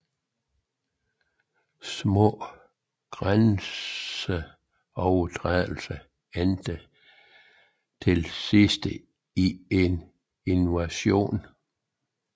Små grænseovertrædelser endte til sidst i en invasion